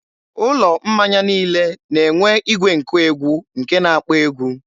ụlọ mmanya niile na-enwe igwe nkụ egwu nke na akpọ egwu.